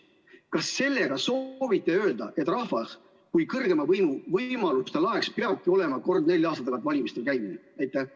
Kas te soovite sellega öelda, et rahva kui kõrgeima võimu võimaluste laeks peabki olema kord nelja aasta tagant valimistel käimine?